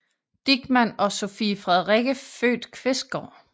Dichman og Sophie Frederikke født Qvistgaard